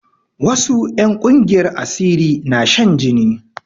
Wasu 'yan ƙungiyar asiri na shan jini